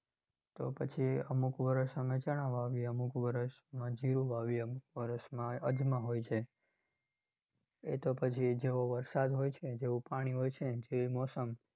તો પછી અમુક વર્ષ અમે ચણા વાવીએ, અમુક વર્ષમાં જિરુ વાવીએ, અમુક વર્ષમાં અજમા હોય છે. એ તો પછી જેવો વરસાદ હોય છે જેવુ પાણી હોય છે જેવી મોસમ